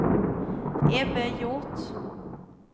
Ebbe Hjort